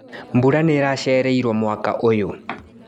Mbura nĩiracereirwo mwaka ũyũ.